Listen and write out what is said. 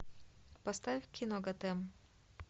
поставь кино готэм